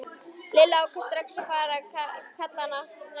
Lilla ákvað strax að kalla hana Snæfríði.